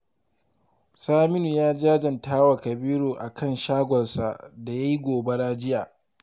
Saminu ya jajanta wa Kabiru a kan shagonsa da ya yi gobara jiya